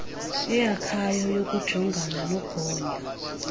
eyakhayo yokujongana nogonyo